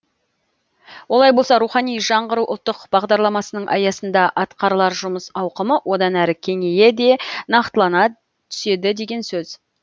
олай болса рухани жаңғыру ұлттық бағдарламасының аясында атқарылар жұмыс ауқымы одан әрі кеңейе де нақтылана түседі деген сөз